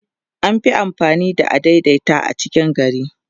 an Fi amfani da adaidaita a cikin gari